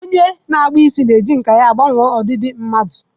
Onye na-akpụ isi na-eji nkà ya gbanwee ọdịdị mmadụ.